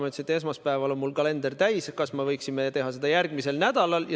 Ma ütlesin, et esmaspäeval on mul kalender täis, kas me võiksime teha seda järgmisel nädalal.